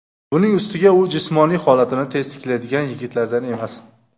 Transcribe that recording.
Buning ustiga u jismoniy holatini tez tiklaydigan yigitlardan emas.